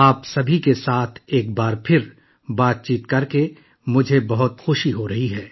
آپ سب کے ساتھ ایک بار پھر بات چیت کرتے ہوئے مجھے بہت خوشی ہو رہی ہے